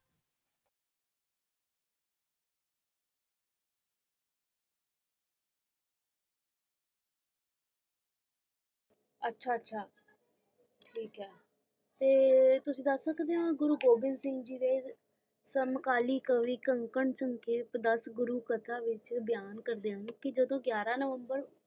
ਅੱਛਾ ਅੱਛਾ ਠੀਕ ਹੈ ਤੇ ਤੁਸੀ ਦਾਸ ਸਕਦੇ ਹੋ ਗੁਰੂ ਗੋਬਿੰ ਸਿੰਘ ਦੇ ਸਮਕਾਲੀ ਕਾਵਿ ਕਣਕਾਂ ਚੁੰਗ ਦਾਸ ਗੁਰੂ ਕਥਾ ਵਿਚ ਬਿਆਨ ਕਰਦੇ ਆਏ ਜੱਦੋ ਯੀਅਰ ਨਵੰਬਰ